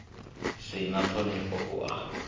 si na ṱhonifho u a